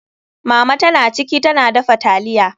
Mama ta na ciki, ta na dafa taliya.